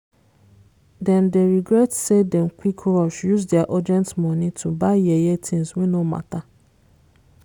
dem dey regret say dem quick rush use dia urgent money to buy yeye things wey no matter.